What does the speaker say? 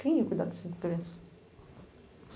Quem ia cuidar de cinco crianças?